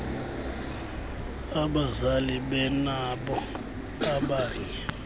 abazali benabo abanye